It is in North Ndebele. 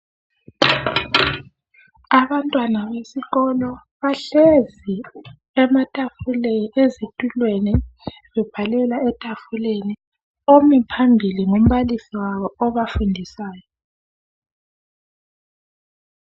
Abantwana besikolo bahlezi ezitulweni bebhalela ematafuleni omi phambili ngumbalisi wabo obafundisayo